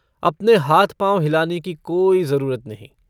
अपने हाथ-पाँव हिलाने की कोई ज़रूरत नहीं।